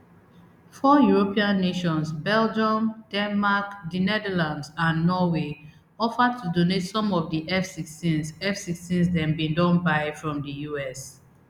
four european nations belgium denmark di netherlands and norway offer to donate some of di fsixteens fsixteens dem bin don buy from di us